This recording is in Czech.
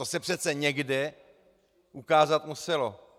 To se přece někde ukázat muselo.